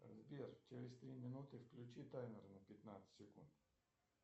сбер через три минуты включи таймер на пятнадцать секунд